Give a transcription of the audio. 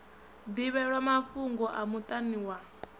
ḓivhelwa mafhugo a muṱani wa